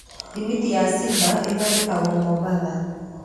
Thimiti ya Simba ĩthondekahĩrwo Mombatha.